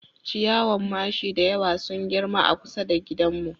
Ciyawan mashi da yawa sun girma a kusa da gidanmu